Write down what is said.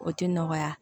O tɛ nɔgɔya